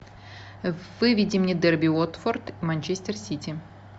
выведи мне дерби уотфорд манчестер сити